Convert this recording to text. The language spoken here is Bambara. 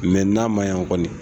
Mɛ n'a ma ɲan kɔni